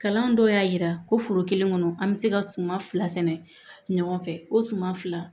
Kalan dɔw y'a jira ko foro kelen kɔnɔ an bɛ se ka suma fila sɛnɛ ɲɔgɔn fɛ o suma fila